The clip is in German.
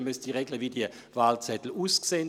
Man müsste regeln, wie die Wahlzettel neu aussähen.